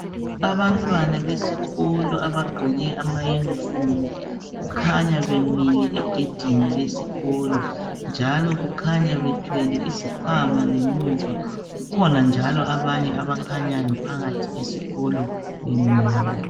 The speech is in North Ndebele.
Abantwana besikolo abagqoke amayunifomu kukhanya bemile egedini njalo kukhanya bethwele izikhwama ngemuva, kukhona njalo abanye abakhanyayo phakathi esikolo bemile.